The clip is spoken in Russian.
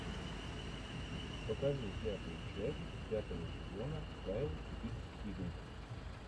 покажи пятую часть пятого сезона кайл икс игрек